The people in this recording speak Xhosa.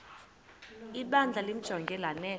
ibandla limjonge lanele